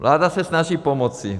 Vláda se snaží pomoci.